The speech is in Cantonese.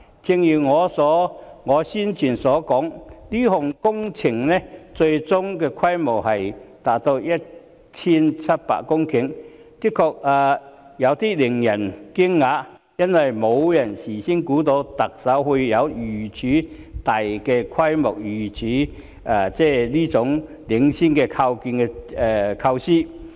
正如我先前所說，這項工程最終的規模達到 1,700 公頃，的確令人有點驚訝，因為事前沒有人想到特首會有如此大規模、如此領先的構思。